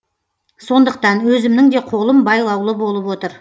сондықтан өзімнің де қолым байлаулы болып отыр